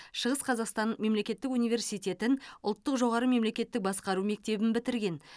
шығыс қазақстан мемлекеттік университетін ұлттық жоғары мемлекеттік басқару мектебін бітірген